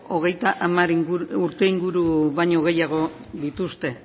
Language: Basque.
hogeita hamar urte inguru baino gehiago dituzte